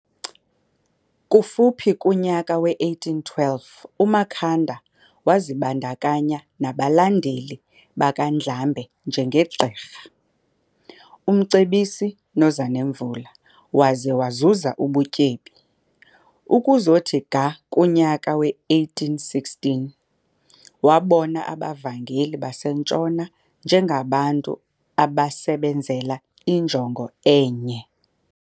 Kufuphi kunyaka we-1812 uMakhanda wazibandakanya nabalandeli bakaNdlambe njenge Gqirha, uMncebisi noZanemvula waze wazuza ubutyebi. Ukuzothi ga kunyaka we-1816 wabona abavangeli base Ntshona njengabantu abasebenzela injongo enye.